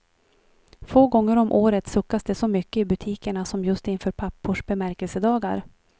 Få gånger om året suckas det så mycket i butikerna som just inför pappors bemärkelsedagar.